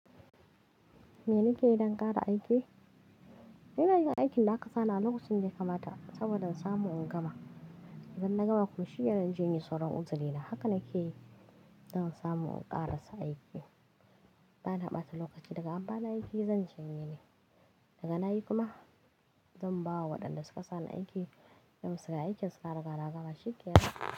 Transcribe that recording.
Me nike yi don ƙara aiki? Ina yin aikin da aka sa ni a lokacin da ya kamata saboda in samu in gama. Idan na gama kuma shiyya zan je in yi sauran uzina. Haka nike yi don samu in ƙara sa aiki. Ba na ɓata lokaci daga amfanin aiki, zan ci gaba ne. Daga na yi kuma zan ba wa waɗanda suka sa ni aiki dan su ga aikin suka gaba shi ke yaɗa.